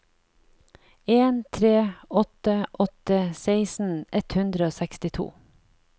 en tre åtte åtte seksten ett hundre og sekstito